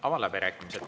Avan läbirääkimised.